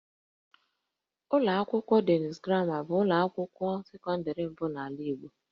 Ụlọ akwụkwọ Denis Gramma bụ ụlọ akwụkwọ sekọndịrị mbụ n'ala Igbo